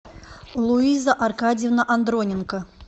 луиза аркадьевна андроненко